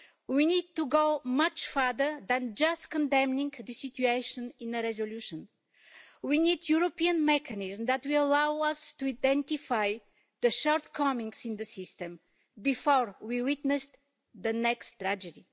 We need to go much further than just condemning the situation in a resolution. We need a European mechanism that will allow us to identify the shortcomings in the system before we witness the next tragedy.